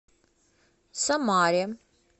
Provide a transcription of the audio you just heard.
самаре